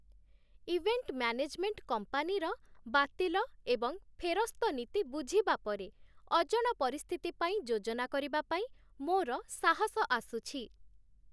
Event management କମ୍ପାନୀର ବାତିଲ ଏବଂ ଫେରସ୍ତ ନୀତି ବୁଝିବା ପରେ, ଅଜଣା ପରିସ୍ଥିତି ପାଇଁ ଯୋଜନା କରିବା ପାଇଁ ମୋର ସାହସ ଆସୁଛି।